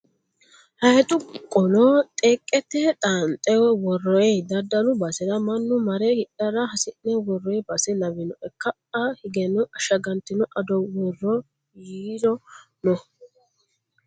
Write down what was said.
Hayiixu qolo xeeqete xaanxe worroyi. Daddalu basera mannu mare hidhara has'ne worroyi base lawinoe. Ka'aa higeno ashagantino ado worroyiiri no.